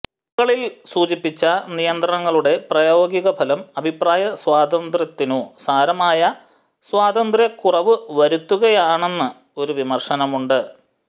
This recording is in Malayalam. മുകളിൽ സൂചിപ്പിച്ച നിയന്ത്രണങ്ങളുടെ പ്രായോഗികഫലം അഭിപ്രായസ്വാതന്ത്ര്യത്തിനു സാരമായ സ്വാതന്ത്ര്യക്കുറവുവരുത്തുകയാണെന്ന് ഒരു വിമർശനം ഉണ്ട്